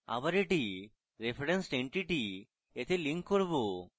আবার এটি referenced entity তে লিঙ্ক করা